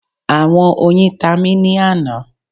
Awọn oyin ta mi ni ana